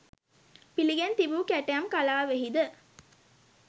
පිළිගෙන තිබූ කැටයම් කලාවෙහිද